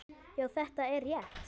Já, þetta er rétt.